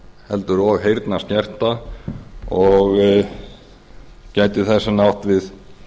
heldur og einnig heyrnarskerta og gæti þess vegna átt við